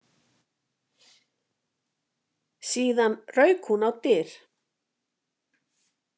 Síðan rauk hún á dyr.